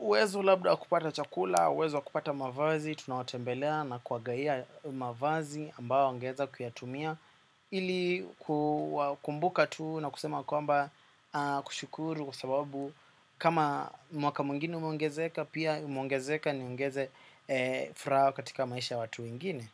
Uwezo labda wa kupata chakula, uwezo kupata mavazi. Tuna watembelea na kuwagawia mavazi ambao wangeza kuyatumia ili kuwakumbuka tu na kusema kwamba kushukuru kwa sababu kama mwaka mwingine umeongezeka pia umuongezeka niongeze furaha katika maisha ya watu wengine.